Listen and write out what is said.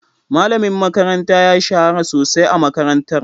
Malamin makaranta ya shahara sosai a makarantar.